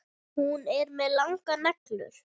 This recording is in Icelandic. Hún er með langar neglur.